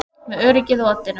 Með öryggið á oddinum